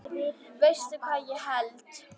Veistu hvað ég held.